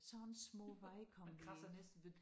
Sådan små veje kom vi ind